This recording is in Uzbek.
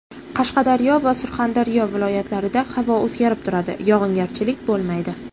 Qashqadaryo va Surxondaryo viloyatlarida havo o‘zgarib turadi, yog‘ingarchilik bo‘lmaydi.